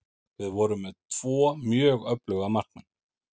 Við vorum með tvo mjög öfluga markmenn.